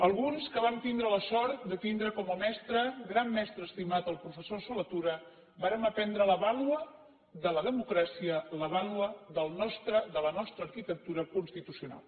alguns que vam tindre la sort de tindre com a mestre gran mestre estimat el professor solé tura vàrem aprendre la vàlua de la democràcia la vàlua de la nostra arquitectura constitucional